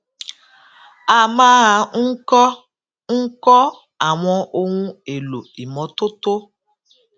a máa ń kó ń kó àwọn ohun èlò ìmọ́tótó